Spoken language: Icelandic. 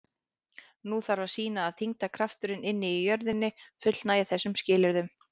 Nú þarf að sýna að þyngdarkrafturinn inni í jörðinni fullnægi þessum skilyrðum.